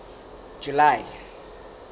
july